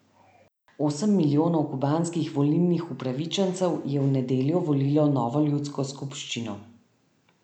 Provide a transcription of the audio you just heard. Osem milijonov kubanskih volilnih upravičencev je v nedeljo volilo novo ljudsko skupščino.